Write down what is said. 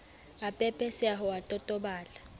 a pepeseha o a totobala